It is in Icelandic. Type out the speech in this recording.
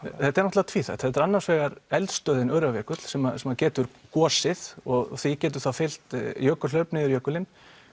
er náttúrulega tvíþætt þetta er annars vegar eldstöðin Öræfajökull sem að getur gosið og því getur þá fylgt jökulhlaup niður jökulinn